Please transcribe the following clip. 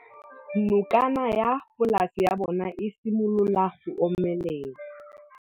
Nokana ya polase ya bona, e simolola go omelela.